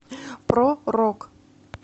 про рок